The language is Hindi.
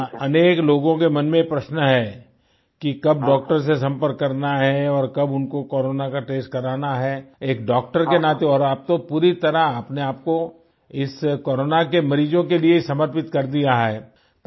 एक तो अनेक लोगों के मन में ये प्रश्न है कि कब डॉक्टर्स से संपर्क करना है और कब उनको कोरोना का टेस्ट कराना है एक डॉक्टर के नाते और आप तो पूरी तरह अपने आप को इस कोरोना के मरीजों के लिए समर्पित कर दिया है